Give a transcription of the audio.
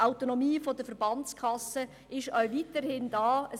Die Autonomie der Verbandskassen bleibt weiterhin bestehen.